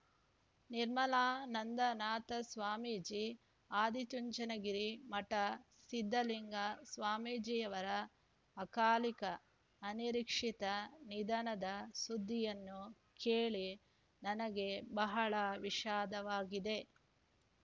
ನಿರ್ಮಲಾನಂದನಾಥ ಸ್ವಾಮೀಜಿ ಆದಿಚುಂಚನಗಿರಿ ಮಠ ಸಿದ್ದಲಿಂಗ ಸ್ವಾಮೀಜಿಯವರ ಅಕಾಲಿಕ ಅನಿರೀಕ್ಷಿತ ನಿಧನದ ಸುದ್ದಿಯನ್ನು ಕೇಳಿ ನನಗೆ ಬಹಳ ವಿಷಾದವಾಗಿದೆ